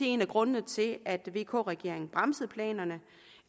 en af grundene til at vk regeringen bremsede planerne